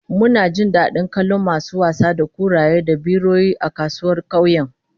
Mun ji dadin kallon masu wasa da kuraye da biroyi a kasuwar kauyen